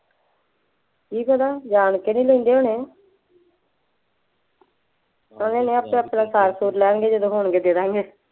ਕੀ ਪਤਾ ਜਾਂਣ ਕੇ ਨਹੀਂ ਲੈਂਦੇ ਹੋਣੇ, ਕਹਿੰਦੀ ਮੈਂ ਆਪੇ ਆਪਣੇ ਸਾਰ ਸੂਰ ਲਾਂ ਗੇ ਜਦੋਂ ਹੋਣਗੇ ਦੇ ਦਿਆਂਗੇ